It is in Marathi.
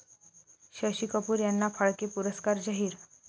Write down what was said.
शशी कपूर यांना फाळके पुरस्कार जाहीर